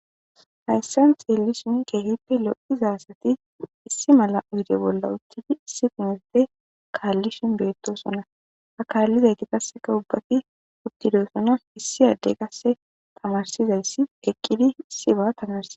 hayssan xeellishin keehippe lo7iza asati issi mala uyde bolla uttidi issi pinerte kaallishin beettosona akallizayti qasseka ubbati uttidosona issi addey qasse tamarsizayssi eqqidi issi ba tamarsie